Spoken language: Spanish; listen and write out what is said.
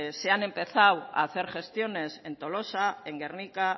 se han empezado a hacer gestiones en tolosa en gernika